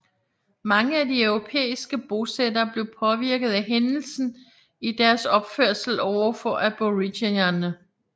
Mange af de europæiske bosættere blev påvirket af hændelsen i deres opførsel over for aboriginerne